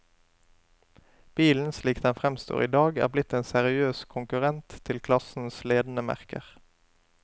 Bilen, slik den i dag fremstår, er blitt en seriøs konkurrent til klassens ledende merker.